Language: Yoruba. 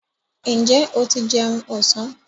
Ǹjẹ́ o ti jẹun ọ̀sán?